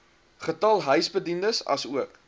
getal huisbediendes asook